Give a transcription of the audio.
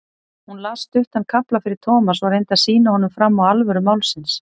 Hún las stuttan kafla fyrir Thomas og reyndi að sýna honum fram á alvöru málsins.